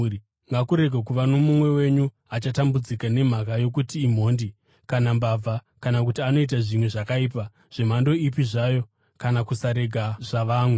Ngakurege kuva nomumwe wenyu achatambudzika, nemhaka yokuti imhondi, kana mbavha, kana kuti anoita zvimwe zvakaipa zvemhando ipi zvayo, kana kusarega zvavamwe.